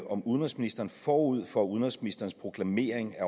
om udenrigsministeren forud for udenrigsministerens proklamering af